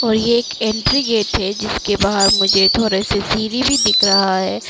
और ये एक एंट्री गेट है जिसके बाहर मुझे थोड़ा से सीढ़ी भी दिख रहा है।